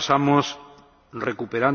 su